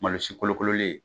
Malosi kolokololen ye